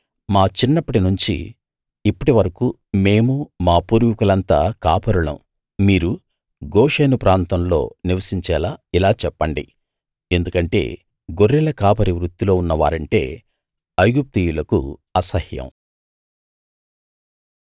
మా చిన్నప్పటి నుంచి ఇప్పటి వరకూ మేమూ మా పూర్వీకులంతా కాపరులం మీరు గోషెను ప్రాంతంలో నివసించేలా ఇలా చెప్పండి ఎందుకంటే గొర్రెల కాపరి వృత్తిలో ఉన్నవారంటే ఐగుప్తీయులకు అసహ్యం